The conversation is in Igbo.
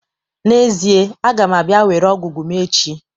N'ezie, a ga m abia were ogwu ogwu m echi